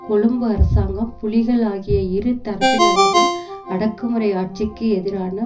கொழும்பு அரசாங்கம் புலிகள் ஆகிய இரு தரப்பினரதும் அடக்குமுறை ஆட்சிக்கு எதிரான